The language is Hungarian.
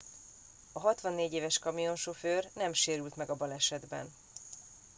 a 64 éves kamionsofőr nem sérült meg a balesetben